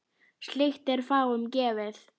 Slíkt er fáum gefið.